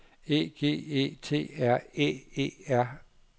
E G E T R Æ E R